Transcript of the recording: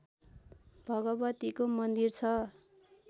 भगवतीको मन्दिर छ